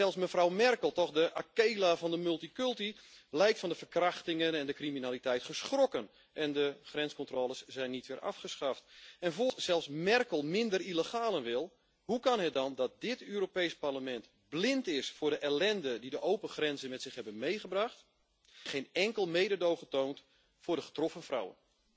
Zelfs mevrouw Merkel toch de akela van de multiculti lijkt van de verkrachtingen en de criminaliteit geschrokken, en de grenscontroles zijn niet weer afgeschaft. Als zelfs Merkel minder illegalen wil, hoe kan het dan dat dit Europees Parlement blind is voor de ellende die de open grenzen met zich hebben meegebracht en geen enkel mededogen toont met de getroffen vrouwen?